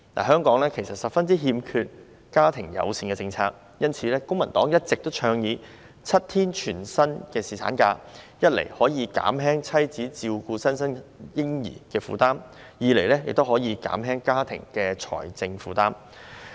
香港十分欠缺家庭友善政策，因此公民黨一直倡議設立7天全薪侍產假，一方面可以減輕產後母親照顧新生嬰兒的負擔，另一方面也可減輕家庭的財政負擔。